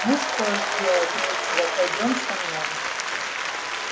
ну что ж делать нечего пойдём со мной